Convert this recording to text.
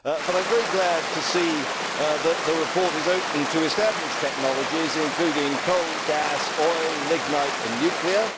I am very glad to see that the report is open to established technologies including coal, gas, oil, lignite and nuclear.